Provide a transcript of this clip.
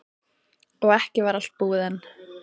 Og ekki var allt búið enn.